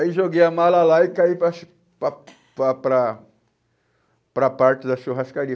Aí joguei a mala lá e caí para chu para para para para a parte da churrascaria.